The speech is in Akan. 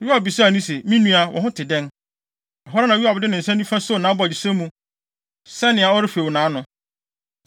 Yoab bisaa no se, “Me nua, wo ho te dɛn?” Ɛhɔ ara na Yoab de ne nsa nifa soo nʼabogyesɛ mu, sɛ nea ɔrefew nʼano.